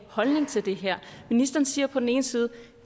holdning til det her ministeren siger på den ene side